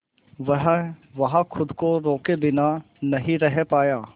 वह वहां खुद को रोके बिना नहीं रह पाया